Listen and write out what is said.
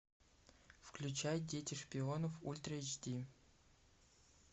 включай дети шпионов ультра эйч ди